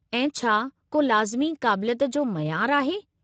ऐं छा को लाज़िमी क़ाबिलियत जो मयार आहे?